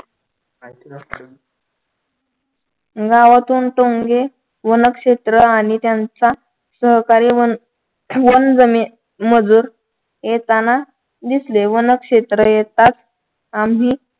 गावातून टोनगे वनक्षेत्र आणि त्यांचा सहकारी वनमजूर येताना दिसले वनक्षेत्र येताच आम्ही